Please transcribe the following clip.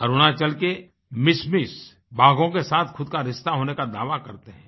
अरुणाचल के मिशमीबाघों के साथ खुद का रिश्ता होने का दावा करते हैं